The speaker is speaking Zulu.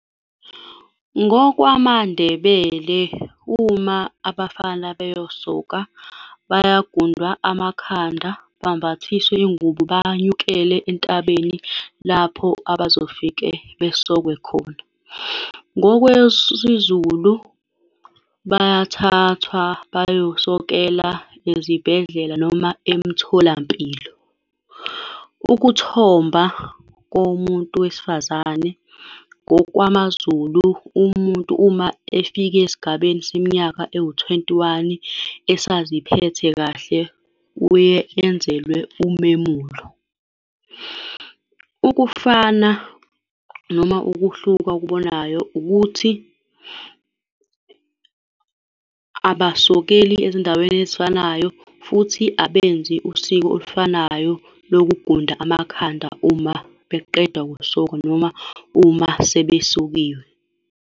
NgokwamaNdebele, uma abafana beyosoka, bayagundwa amakhanda, bambathiswe iy'ngubo, banyukele entabeni lapho abazofike besokwe khona. NgokwesiZulu, bayathathwa bayosokela ezibhedlela noma emtholampilo. Ukuthomba komuntu wesifazane, ngokwamaZulu, umuntu uma efike esigabeni seminyaka ewu-twenty one esaziphethe kahle, uye enzelwe umemulo. Ukufana noma ukuhluka okubonayo ukuthi abasokeli ezindaweni ezifanayo, futhi abenzi usiko olufanayo lokugunda amakhanda uma beqeda ukusoka noma uma sebesokiwe.